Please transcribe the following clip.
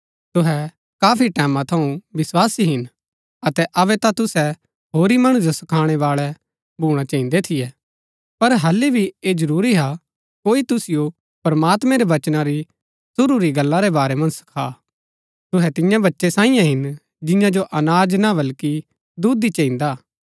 तुहै काफी टैमां थऊँ विस्वासी हिन अतै अबै ता तुसै होरी मणु जो सखाणै बाळै भूणा चहिन्‍दै थियै पर हालि भी ऐह जरूरी हा कोई तुसिओ प्रमात्मैं रै वचना री शुरू री गल्ला रै बारै मन्ज सखा तुहै तियां बच्चै सांईयै हिन जियां जो अनाज ना बल्कि दुध ही चहिन्दा हा